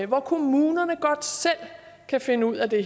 hvor kommunerne godt selv kan finde ud af det